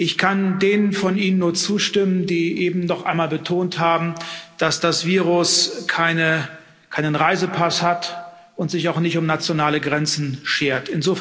Ich kann denen von Ihnen nur zustimmen, die eben noch einmal betont haben, dass das Virus keinen Reisepass hat und sich auch nicht um nationale Grenzen schert.